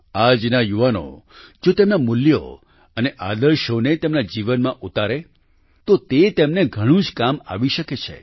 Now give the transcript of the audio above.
આજના યુવાનો જો તેમના મૂલ્યો અને આદર્શોને તેમના જીવનમાં ઉતારે તો તે તેમને ઘણું જ કામ આવી શકે છે